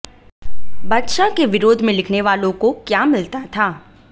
बादशाह के विरोध में लिखने वालों को क्या मिलता था